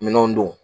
Minɛnw don